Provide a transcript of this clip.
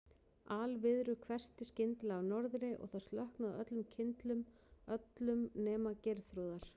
Alviðru hvessti skyndilega af norðri og það slokknaði á öllum kyndlum, öllum nema Geirþrúðar.